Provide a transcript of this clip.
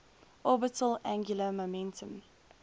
orbital angular momentum